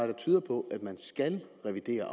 der tyder på at man skal revidere